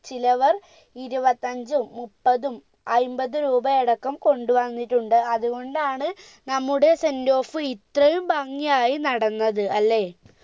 ചിലവർ ഇരുപത്തഞ്ചും മുപ്പതും അയിമ്പത് രൂപ അടക്കം കൊണ്ട് വന്നിട്ടുണ്ട് അത്കൊണ്ടാണ് നമ്മുടെ sendoff ഇത്രയും ഭംഗി ആയി നടന്നത് അല്ലെ